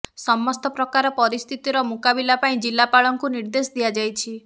ସମସ୍ତ ପ୍ରକାର ପରିସ୍ଥିତିର ମୁକାବିଲା ପାଇଁ ଜିଲ୍ଲାପାଳଙ୍କୁ ନିର୍ଦ୍ଦେଶ ଦିଆଯାଇଛି